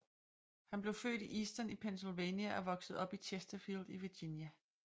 Han blev født i Easton i Pennsylvania og voksede op i Chersterfield i Virginia